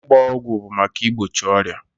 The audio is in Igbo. Ịgba ọgwụ bụ maka igbochi ọrịa.